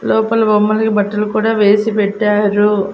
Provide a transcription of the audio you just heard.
లోపల బొమ్మలకి బట్టలు కూడా వేసి పెట్టారు.